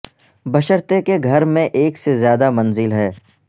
بشرطیکہ کہ گھر میں ایک سے زیادہ منزل ہے